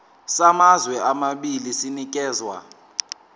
samazwe amabili sinikezwa